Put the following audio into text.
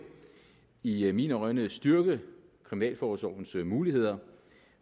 i mine øjne styrke kriminalforsorgens muligheder